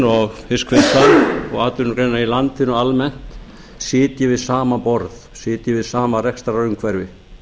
og fiskvinnslan og atvinnugreinarnar í landinu almennt sitji við sama borð sitji við sama rekstrarumhverfi